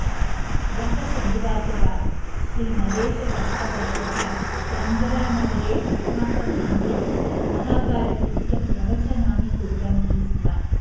गत शनिवासरात् श्रीनरेशभट्टवर्यः केन्बरानगरे अस्माकं मन्दिरे महाभारतस्य प्रवचनानि कुर्वन्ति स्म